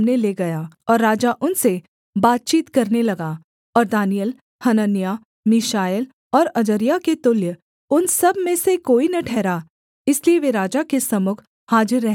और राजा उनसे बातचीत करने लगा और दानिय्येल हनन्याह मीशाएल और अजर्याह के तुल्य उन सब में से कोई न ठहरा इसलिए वे राजा के सम्मुख हाजिर रहने लगे